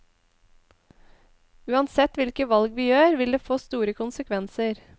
Uansett hvilke valg vi gjør, vil det få store konsekvenser.